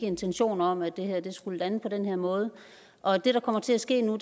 intentioner om at det her skulle lande på den her måde og det der kommer til at ske nu